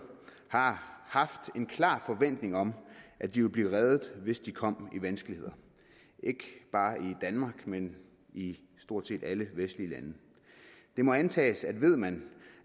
har haft en klar forventning om at de ville blive reddet hvis de kom i vanskeligheder ikke bare i danmark men i stort set alle vestlige lande det må antages at ved man